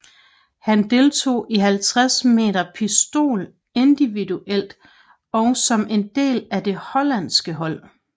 Han deltog i 50 m pistol individuelt og som en del af det hollandske hold